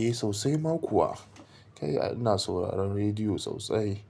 Eh sosai ma kuwa kai ina sauraron rediyo sosai.